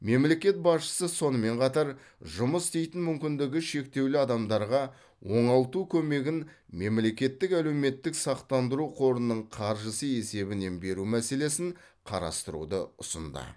мемлекет басшысы сонымен қатар жұмыс істейтін мүмкіндігі шектеулі адамдарға оңалту көмегін мемлекеттік әлеуметтік сақтандыру қорының қаржысы есебінен беру мәселесін қарастыруды ұсынды